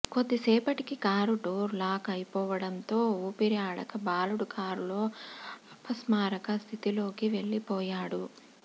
కొద్దిసేపటికి car door lock అయిపోవడంతో ఊపిరి ఆడక బాలుడు కారులో అపస్మారక స్థితిలోకి వెళ్లిపోయాడు